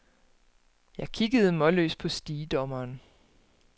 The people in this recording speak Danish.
Jeg kiggede målløs på stigedommeren.